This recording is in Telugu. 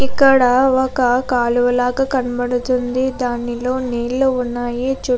ఇక్కడ ఒక కాలువలగా కనపడుతుంది. దానిలో నీళ్లు ఉన్నాయ్. చుట్టూ --